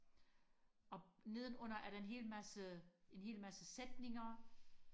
og nedenunder er der en hel masse en hel masse sætninger